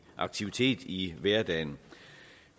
aktivitet i hverdagen